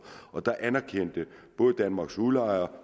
og der anerkendte både danmarks udlejere